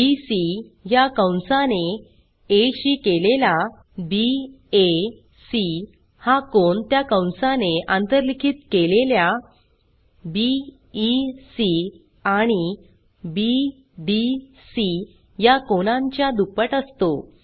BC या कंसाने आ शी केलेला BACहा कोन त्या कंसाने आंतरलिखित केलेल्या बीईसी आणि बीडीसी या कोनांच्या दुप्पट असतो